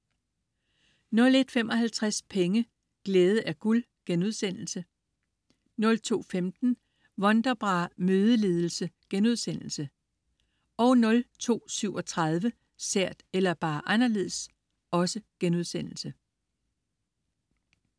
01.55 Penge: Glæde er guld* 02.15 Wonderbra-mødeledelse* 02.37 Sært, eller bare anderledes?*